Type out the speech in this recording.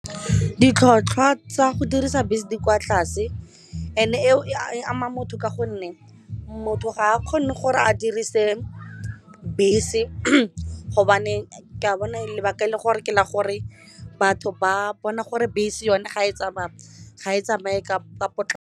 Ditlhotlhwa tsa go dirisa bese di kwa tlase and e eo e ama motho ka gonne motho ga a kgone gore a dirise bese gobane ka bona lebaka e le gore ke la gore batho ba bona gore bese yone ga e tsamaya ga e tsamaye ka .